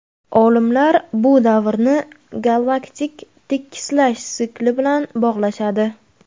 Olimlar bu davrni galaktik tekislash sikli bilan bog‘lashadi.